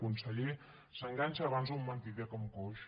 conseller s’enganxa abans un mentider que un coix